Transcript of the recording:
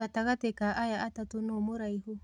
Gatagatĩ ka aya atatũ nũ mũraihu